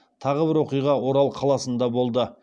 тағы бір оқиға орал қаласында болды